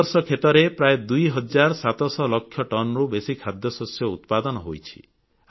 ଏ ବର୍ଷ କ୍ଷେତରେ ପ୍ରାୟ ଦୁଇ ହଜାର ସାତ ଶହ ଲକ୍ଷ ଟନ୍ ରୁ ବେଶୀ ଖାଦ୍ୟଶସ୍ୟ ଉତ୍ପାଦନ ହୋଇଛି